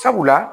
Sabula